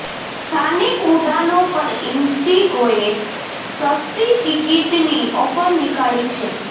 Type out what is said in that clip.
સ્થાનિક ઉડાનો પર ઇન્ડિગોએ સસ્તી ટિકિટની ઓફર નીકાળી છે